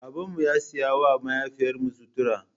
Babanmu ya saya wa mahaifiyarmu sutura.